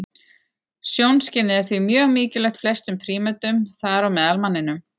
Sjónskynið er því mjög mikilvægt flestum prímötum þar á meðal manninum.